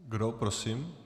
Kdo prosím?